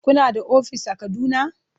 Kuna da ofis a Kaduna?